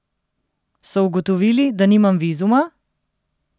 So ugotovili, da nimam vizuma?